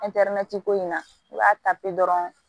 ko in na u b'a ta pe dɔrɔn